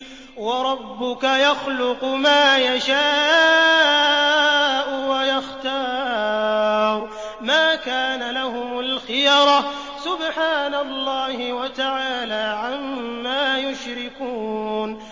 وَرَبُّكَ يَخْلُقُ مَا يَشَاءُ وَيَخْتَارُ ۗ مَا كَانَ لَهُمُ الْخِيَرَةُ ۚ سُبْحَانَ اللَّهِ وَتَعَالَىٰ عَمَّا يُشْرِكُونَ